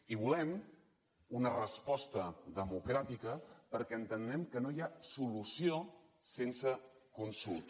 i volem una resposta democràtica perquè entenem que no hi ha solució sense consulta